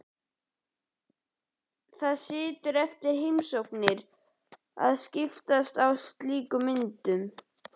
Það er siður eftir heimsóknir að skiptast á slíkum myndum.